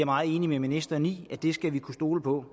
meget enig med ministeren i det skal vi kunne stole på